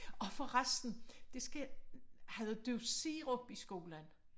Åh for resten det skal havde du sirup i skolen?